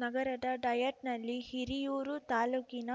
ನಗರದ ಡಯಟ್‌ನಲ್ಲಿ ಹಿರಿಯೂರು ತಾಲೂಕಿನ